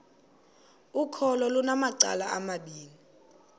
ukholo lunamacala amabini